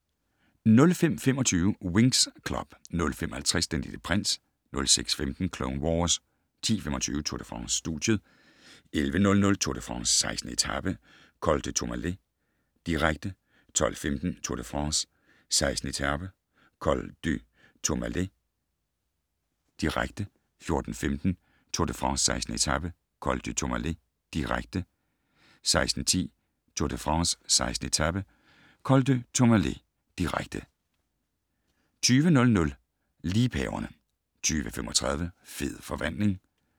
05:25: Winx Club 05:50: Den Lille Prins 06:15: Clone Wars 10:25: Tour de France: Studiet 11:00: Tour de France: 16. etape - Col du Tourmalet, direkte 12:15: Tour de France: 16. etape - Col du Tourmalet, direkte 14:15: Tour de France: 16. etape - Col du Tourmalet, direkte 16:10: Tour de France: 16. etape - Col du Tourmalet, direkte 20:00: Liebhaverne 20:35: Fed forvandling